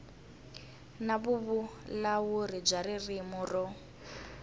na vuvulavuri bya ririmi ro